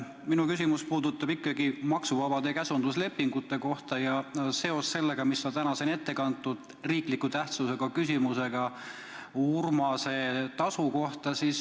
Minu küsimus puudutab maksuvabasid käsunduslepinguid, ja seda seoses sellega, mida on täna siin ette kantud riikliku tähtsusega küsimusena Urmase tasu kohta.